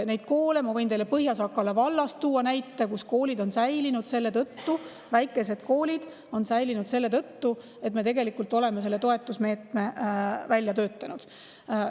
Ma võin teile tuua näite Põhja-Sakala vallast, kus väikesed koolid on säilinud selle tõttu, et me oleme selle toetusmeetme välja töötanud.